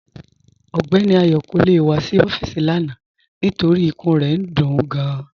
Ọgbẹni Ayo kò le wà sí ọfiisi lána nítorí ìkùn rẹ̀ ń dún ú gáàn